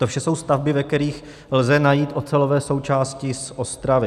To vše jsou stavby, ve kterých lze najít ocelové součásti z Ostravy.